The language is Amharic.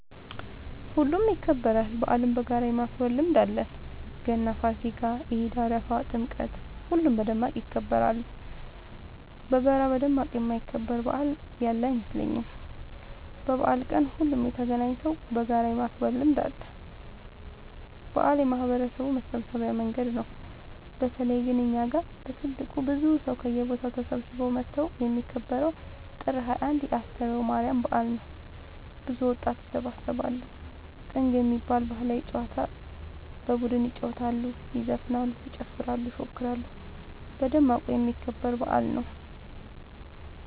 ሁሉም ይከበራል። በአልን በጋራ የማክበር ልምድ አለን ገና ፋሲካ ኢድ አረፋ ጥምቀት ሁሉም በደማቅ ይከበራሉ። በጋራ በደማቅ የማይከበር በአል ያለ አይመስለኝም። በበአል ቀን ሁሉም ተገናኘተው በጋራ የማክበር ልምድ አለ። በአል የማህበረሰቡ መሰብሰቢያ መንገድ ነው። በተለይ ግን እኛ ጋ በትልቁ ብዙ ሰው ከየቦታው ተሰብስበው መተው የሚከበረው ጥር 21 የ አስተርዮ ማርያም በአል ነው። ብዙ ወጣት ይሰባሰባሉ። ጥንግ የሚባል ባህላዊ ጨዋታ በቡድን ይጫወታሉ ይዘፍናሉ ይጨፍራሉ ይፎክራሉ በደማቁ የሚከበር በአል ነው።